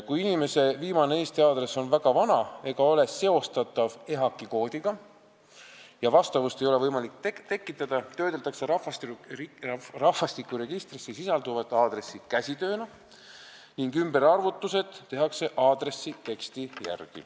Kui inimese viimane Eesti aadress on väga vana ega ole seostatav EHAK-i koodiga ning vastavust ei ole võimalik tekitada, siis töödeldakse rahvastikuregistris sisalduvat aadressi käsitsitööna ning ümberarvutused tehakse aadressi teksti järgi.